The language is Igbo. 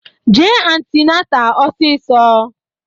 Jee antinata ọsisọ!